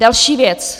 Další věc.